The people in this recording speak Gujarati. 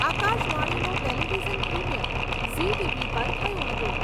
આકાશ વાણીનું ટેલિવિઝન પ્રીમિયર ઝી ટીવી પર થયું હતું.